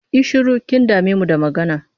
Yi shiru! Kin dame mu da magana.